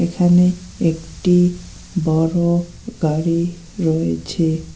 এখানে একটি বড় গাড়ি রয়েছে।